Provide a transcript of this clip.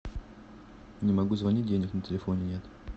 не могу звонить денег на телефоне нет